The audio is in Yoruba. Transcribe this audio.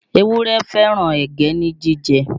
Ewúrẹ́ fẹ́ràn ẹ̀gẹ́ ní jíjẹ